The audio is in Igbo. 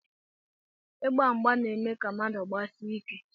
Ịgba mgba na-eme ka mmadụ gbasie ike